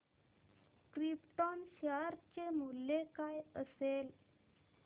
krypton share चे मूल्य काय असेल